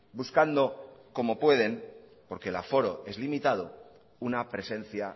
buscando como pueden porque el aforo es limitado una presencia